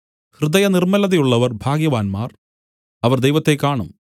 ഹൃദയനിർമ്മലതയുള്ളവർ ഭാഗ്യവാന്മാർ അവർ ദൈവത്തെ കാണും